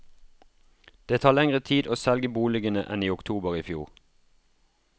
Det tar lenger tid å selge boligene enn i oktober i fjor.